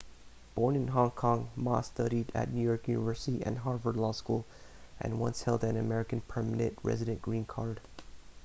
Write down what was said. born in hong kong ma studied at new york university and harvard law school and once held an american permanent resident green card